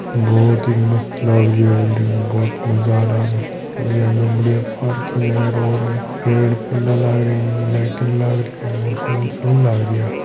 बहुत ही मस्त लग रही है बिल्डिंग बहुत ही मज़ा आ रहा है बहुत बड़िया पार्किंग है रोड है पेड़ पौधा लाग रहा है लाइटिंग लाग री है। सुणी लाग री है या--